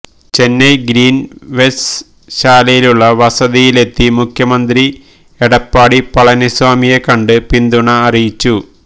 ചെന്നൈ ഗ്രീൻവേസ്ശാലയിലുള്ള വസതിയിലെത്തി മുഖ്യമന്ത്രി എടപ്പാടി പളനിസ്വാമിയെ കണ്ട് പിന്തുണ അറിയിച്ചു